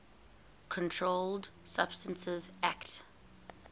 controlled substances acte